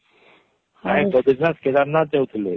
କାଇଁ ବଦ୍ରୀନାଥ କେଦାରନାଥ ଯାଉଥିଲେ